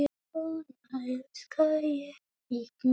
Svona elska ég þig mikið.